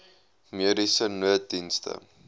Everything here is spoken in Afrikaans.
mediese nooddienste